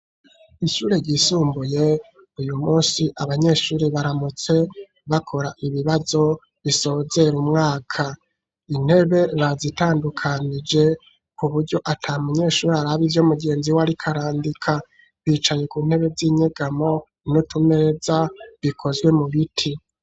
Ishure ryisumbuye, uyu munsi, abanyeshure baramutse, bakora ibibazo, bisozera umwaka; intebe bazitandukanije, ku buryo, ata munyeshure, araba ivyo mugenzi we, ariko arandika; bicaye ku ntebe z'inyegamo, n'utumeza, bikozwe mu biti.